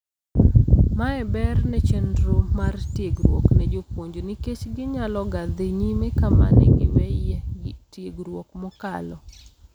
Mae ber ne chendro mar tiegruok ne jopuonj nikech ginyaloga dhii nyime kama negiweyie tiegruok mokalo.